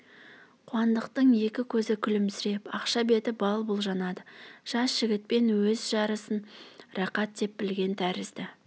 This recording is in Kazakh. қуандықтың екі көзі күлімсіреп ақша беті бал-бұл жанады жас жігітпен өз жарысын рақат деп білген тәрізді